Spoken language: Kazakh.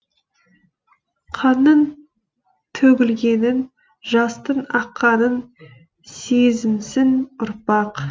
қанның төгілгенін жастың аққанын сезінсін ұрпақ